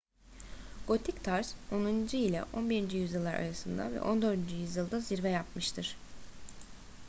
gotik tarz 10. ile 11. yüzyıllar arasında ve 14. yüzyılda zirve yapmıştır